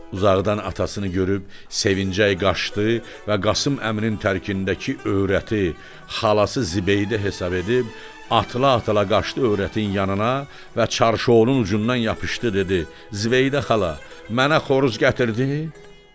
Uzaqdan atasını görüb sevincəy qaçdı və Qasım əminin tərkindəki öyrəti xalası Zibeydə hesab edib atıla-atıla qaçdı öyrətin yanına və çarşounun ucundan yapışdı, dedi: "Zibeydə xala, mənə xoruz gətirdin?"